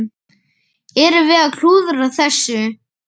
Erum við að klúðra þessu?